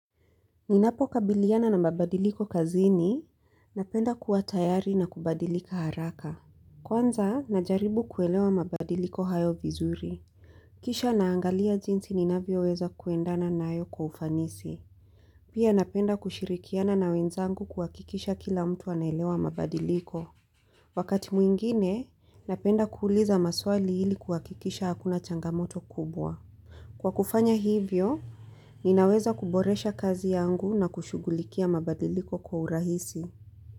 Ninapo kabiliana na mabadiliko kazini, napenda kua tayari na kubadilika haraka. Kwanza, najaribu kuelewa mabadiliko hayo vizuri. Kisha naangalia jinsi ninavyo weza kuendana nayo kwa ufanisi. Pia napenda kushirikiana na wenzangu kuwakikisha kila mtu anaelewa mabadiliko. Wakati mwingine, napenda kuuliza maswali hili kuwakikisha hakuna changamoto kubwa. Kwa kufanya hivyo, ninaweza kuboresha kazi yangu na kushugulikia mabadiliko kwa urahisi.